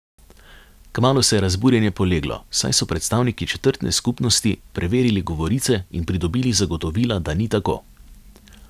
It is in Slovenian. Kmalu se je razburjenje poleglo, saj so predstavniki četrtne skupnosti preverili govorice in pridobili zagotovila, da ni tako.